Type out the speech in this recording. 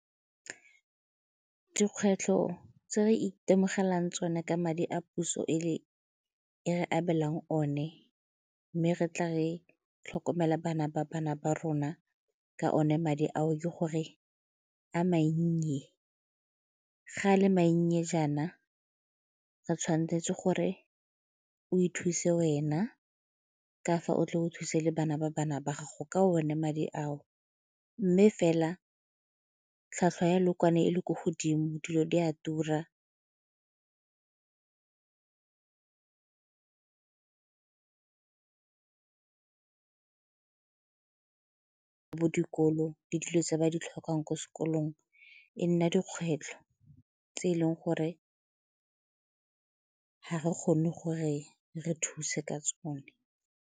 Dikgwetlho tse re itemogelang tsone ka madi a puso e re abelwang one mme re tla re tlhokomela bana ba bana ba rona ka one madi ao ke gore a mannye, ga a le mannye jaana ga tshwanetse gore o ithuse wena ka fa o tle go thuse le bana ba bana ba gago ka one madi ao. Mme fela tlhwatlhwa ya lookwane e le ko godimo dilo di a tura, mo dikolong le dilo tse ba di tlhokang ko sekolong, e nna dikgwetlho tse e leng gore ga re kgone gore re thuse ka tsone.